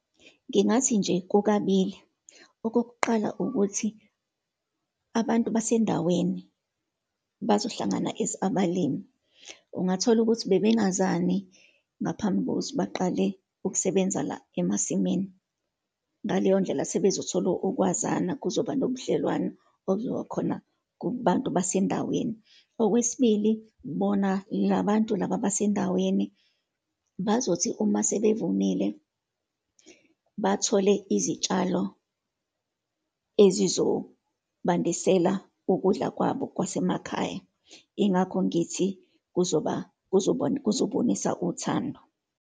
Ngingathi nje kukabili. Okokuqala ukuthi, abantu basendaweni bazohlangana as abalimi, ungathola ukuthi bebengazani ngaphambi kokuthi baqale ukusebenza la emasimini. Ngaleyondlela, sebezothola ukwazana, kuzoba nobudlelwano obuzokhona kubantu basendaweni. Okwesibili, bona labantu laba basendaweni bazothi uma sebevunile bathole izitshalo ezizobandisela ukudla kwabo kwasemakhaya. Ingakho ngithi kuzoba, kuzobonisa uthando.